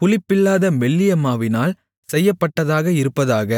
புளிப்பில்லாத மெல்லிய மாவினால் செய்யப்பட்டதாக இருப்பதாக